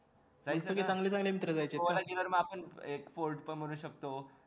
एक fort पण बनवू शकतो